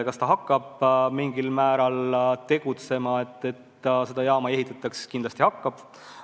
Kas Venemaa hakkab mingil määral tegutsema, et seda jaama ei ehitataks – kindlasti hakkab.